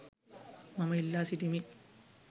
මම ඉල්ලා සිටිමි.